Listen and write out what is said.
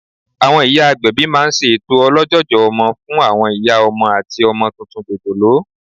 Àwọn ìyá agbẹ̀bí máa n ṣe ètò olójòjò ọmọ fún àwọn ìyá ọmọ àti ọmọ tuntun jòjòló